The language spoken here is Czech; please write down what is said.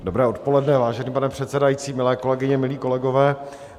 Dobré odpoledne, vážený pane předsedající, milé kolegyně, milí kolegové.